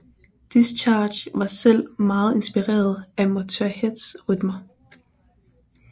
Discharge var selv meget inspireret af Motörheads rytmer